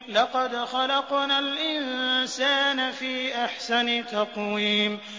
لَقَدْ خَلَقْنَا الْإِنسَانَ فِي أَحْسَنِ تَقْوِيمٍ